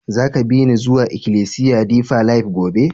Za ka bi ni zuwa ikilisiya Deeper life gobe?